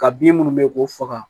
Ka bin minnu bɛ k'u faga